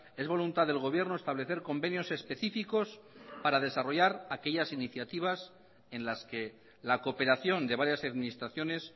es voluntad del gobierno establecer convenios específicos para desarrollar aquellas iniciativas en las que la cooperación de varias administraciones